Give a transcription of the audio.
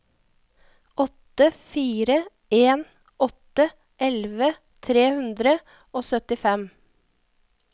åtte fire en åtte elleve tre hundre og syttifem